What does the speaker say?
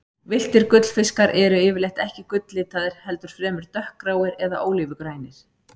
Villtir gullfiskar eru yfirleitt ekki gulllitaðir, heldur fremur dökkgráir eða ólífugrænir.